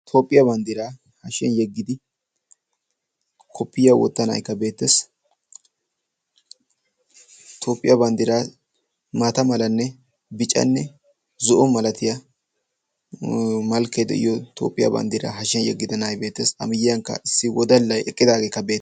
Toophiya bandiraa hashiyan yeggidi koppoyiya wottida na"aykka beettees. Toophiya bandiraa maata malanne biccanne zo"o milatiya malkee de'iyo Toophiyaa bandira hashiyan yeggida na"aykka beettees, a miyiyankka issi wodalay eqqidaageekka beettees.